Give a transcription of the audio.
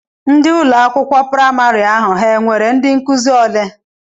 Ndị ụlọakwụkwọ praịmarị ahụ ha nwere ndị nkụzi ole?